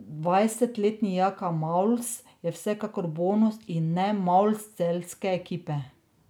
Dvajsetletni Jaka Malus je vsekakor bonus in ne malus celjske ekipe.